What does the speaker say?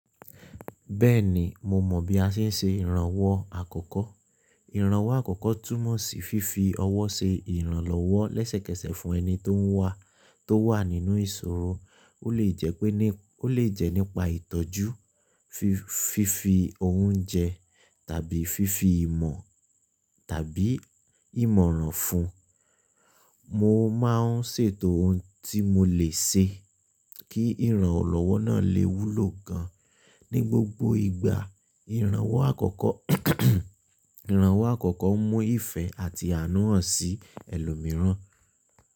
Bẹ́ẹ̀ni, mo mọ bí a ṣe ń ṣe ìrànwọ́ àkọ́kọ́. Ìrànwọ́ àkọ́kọ́ túmọ̀ sí fífi ọwọ́ ṣe ìrànlọ́wọ́ lẹ́sẹ̀kẹsẹ̀ fún ẹni tó ń wá tó wà nínú ìṣòro. Ó lè jẹ nípa ìtọ́jú, fífi oúnjẹ tàbí fífi ìmọ̀ tàbí ìmọ̀ràn fún un. Mo máa ń ṣètò ohun tí mo lè ṣe kí ìrànlọ́wọ́ náà lè wúlò gan-an. Ní gbogbo ìgbà, ìrànwọ́ àkọ́kọ́ ń mú ìfẹ́ àti àánú hàn sí ẹlòmíràn.